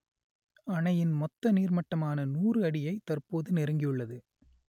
அணையின் மொத்த நீர்மட்டமான நூறு அடியை தற்போது நெருங்கியுள்ளது